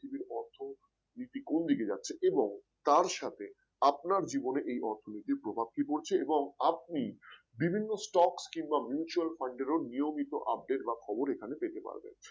নীতি কোন দিকে যাচ্ছে এবং তার সাথে আপনার জীবনের এই অর্থনীতির প্রভাব কি পড়ছে এবং আপনি বিভিন্ন stocks কিংবা Mutual Fund এর নিয়মিত update বা খবর এখানে পেতে পারবেন